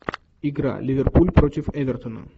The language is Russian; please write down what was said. игра ливерпуль против эвертона